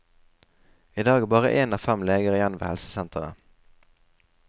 I dag er bare én av fem leger igjen ved helsesenteret.